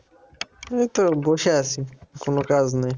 এই তো বসে আছি, কোন কাজ নাই।